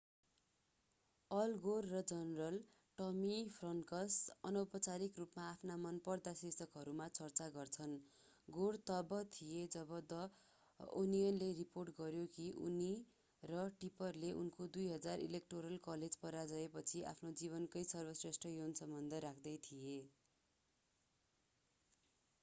All Gore र general Tommy Franks अनौपचारिक रूपमा आफ्ना मनपर्दा शीर्षकहरूमा चर्चा गर्छन् गोर तब थिए जब द ओनियनले रिपोर्ट गर्‍यो कि उनी र टिपरले उनको 2000 ईलेक्टोरल कलेज पराजयपछि आफ्नो जीवनकै सर्वश्रेष्ठ यौनसम्बन्ध राख्दै थिए।